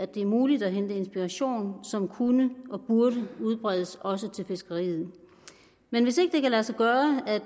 det er muligt at hente inspiration som kunne og burde udbredes også til fiskeriet men hvis ikke det kan lade sig gøre at